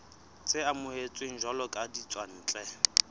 tse amohetsweng jwalo ka ditswantle